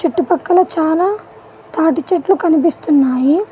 చుట్టూ పక్కన చాలా తాటిచెట్లు కనిపిస్తున్నాయి.